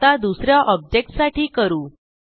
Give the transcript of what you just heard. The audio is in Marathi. आता दुस या ऑब्जेक्ट साठी करू